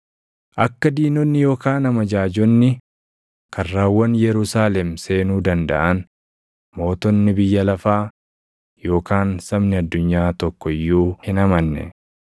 Akka diinonni yookaan amajaajonni karrawwan Yerusaalem seenuu dandaʼan, mootonni biyya lafaa yookaan sabni addunyaa tokko iyyuu hin amanne.